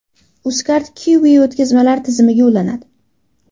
UzCard Qiwi o‘tkazmalar tizimiga ulanadi .